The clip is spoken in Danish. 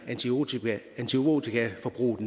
antibiotikaforbruget